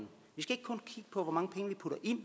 putter ind